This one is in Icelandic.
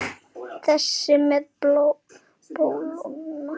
Þessi með bóluna?